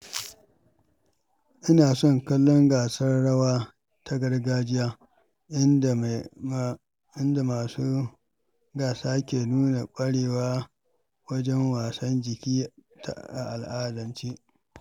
Ina son kallon gasar rawa ta gargajiya inda masu gasa ke nuna ƙwarewa wajen motsa jiki a al'adance.